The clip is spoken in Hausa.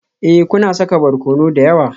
Ee, kuna saka barkono da yawa